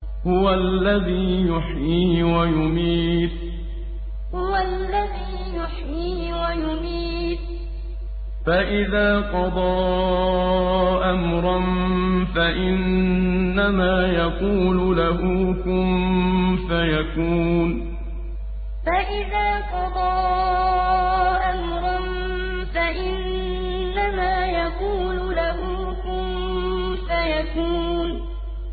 هُوَ الَّذِي يُحْيِي وَيُمِيتُ ۖ فَإِذَا قَضَىٰ أَمْرًا فَإِنَّمَا يَقُولُ لَهُ كُن فَيَكُونُ هُوَ الَّذِي يُحْيِي وَيُمِيتُ ۖ فَإِذَا قَضَىٰ أَمْرًا فَإِنَّمَا يَقُولُ لَهُ كُن فَيَكُونُ